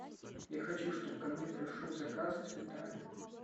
я хочу чтобы ко мне пришел заказ с цветами